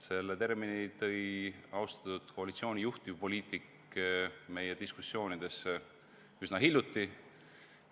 Selle termini tõi austatud koalitsiooni juhtivpoliitik meie diskussioonidesse üsna hiljuti.